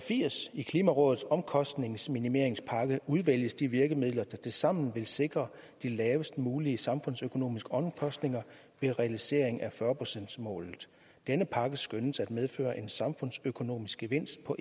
i klimarådets omkostningsminimeringspakke udvælges de virkemidler der tilsammen vil sikre de lavest mulige samfundsøkonomiske omkostninger ved realisering af fyrre procentsmålet denne pakke skønnes at medføre en samfundsøkonomisk gevinst på